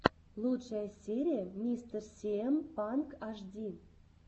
лучшая серия мистер сиэм панк ашди